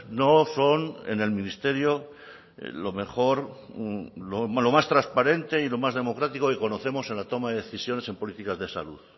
no son en el ministerio lo mejor lo más transparente y lo más democrático que conocemos en la toma de decisiones en políticas de salud